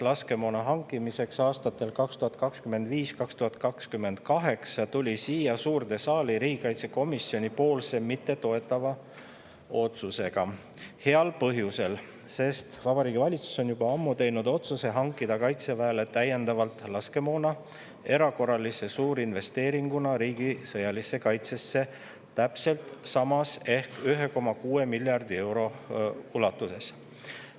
… laskemoona hankimiseks aastatel 2025–2028" tuli siia suurde saali riigikaitsekomisjoni mittetoetava otsusega heal põhjusel: Vabariigi Valitsus on juba ammu teinud otsuse hankida Kaitseväele erakorralise suurinvesteeringuna riigi sõjalisse kaitsesse täiendavalt laskemoona täpselt samas ehk 1,6 miljardi euro ulatuses.